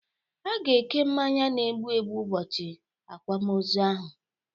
A ga-eke mmanya n'egbụ egbụ ubọchi akwamozụ ahụ